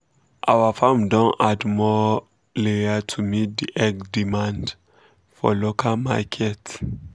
our farm don add more um layer to meet the eggs demand um for local market um